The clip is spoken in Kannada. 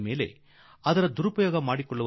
ಅದನ್ನು ದುರುಪಯೋಗಪಡಿಸಿ